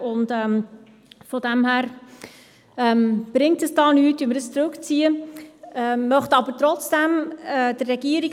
Sie haben auch diese Motion angenommen und gleichzeitig abgeschrieben mit 121 Ja- bei 0 Nein-Stimmen und 0 Enthaltungen.